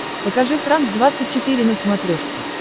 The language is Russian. покажи франс двадцать четыре на смотрешке